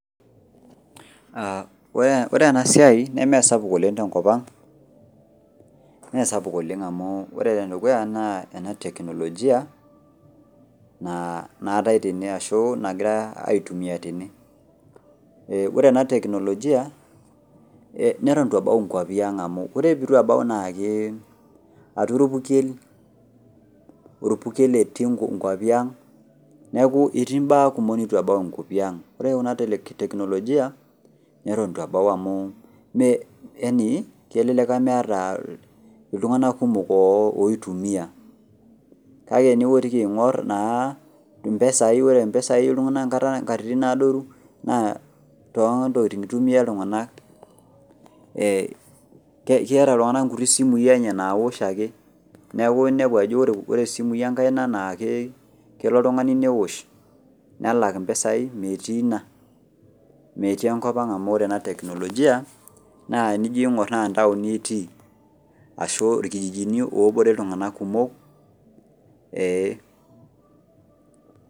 Ore enasiai nemesapuk oleng tenkopang meesapuk oleng amu enateknolojia naatae tene ashu nagirae aitumia ore enateknolojia neton itu ebau inkwapi ang amu ore peitu ebau na ke atua orpukel , orpukel etii inkwapi ang niaku etii imbaa kumok neitu embau enkopang . Ore enateknolojia neton eitu ebau yani kelelek meeta iltunganak kumok oitumia kake teniotiki aingor impesai , ore impesai nkat adoru naa keeta iltunganak nkuti simui enye naosh ake niaku inepu aaa ore isimui enkaina kelo oltungani neosh nelak impisai , mtii ina metii enkopang amunore tenijo aingor enateknlojia naa ntaoni etii ashu atua irkijijini etii.